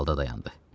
Aralda dayandı.